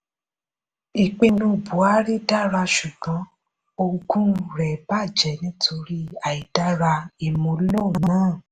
ìpinnu buhari dára ṣùgbọ́n ogún rẹ̀ bàjẹ́ nítorí àìdára ìmúlò náà.